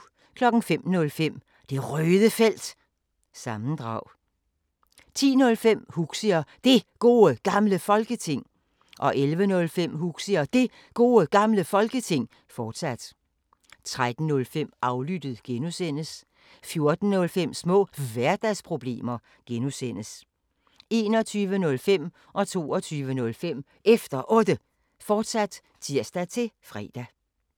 05:05: Det Røde Felt – sammendrag 10:05: Huxi og Det Gode Gamle Folketing 11:05: Huxi og Det Gode Gamle Folketing, fortsat 13:05: Aflyttet (G) 14:05: Små Hverdagsproblemer (G) 21:05: Efter Otte, fortsat (tir-fre) 22:05: Efter Otte, fortsat (tir-fre)